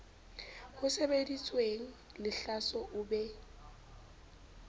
ho sebeditsweng lehlaso o be